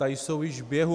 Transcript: Ta jsou již v běhu.